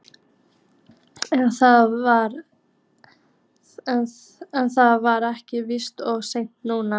En það er víst of seint núna.